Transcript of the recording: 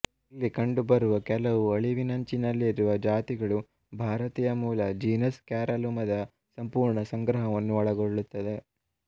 ಇಲ್ಲಿ ಕಂಡುಬರುವ ಕೆಲವು ಅಳಿವಿನಂಚಿನಲ್ಲಿರುವ ಜಾತಿಗಳು ಭಾರತೀಯ ಮೂಲದ ಜೀನಸ್ ಕ್ಯಾರಲುಮದ ಸಂಪೂರ್ಣ ಸಂಗ್ರಹವನ್ನು ಒಳಗೊಳ್ಳುತ್ತದೆ